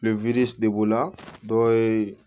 dɔw ye